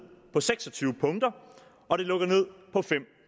på seks og tyve punkter og det lukker ned på fem